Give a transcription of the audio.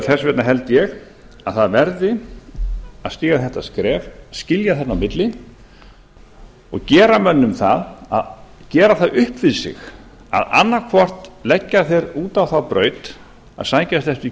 þess vegna held ég að það verði að stíga þetta skref skilja þarna á milli og gera það upp við sig að annaðhvort leggja þeir út á þá braut að sækjast eftir